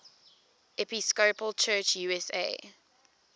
episcopal church usa